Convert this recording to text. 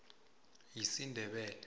yisindebele